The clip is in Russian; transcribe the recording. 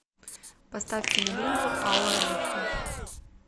поставь киноленту алая буква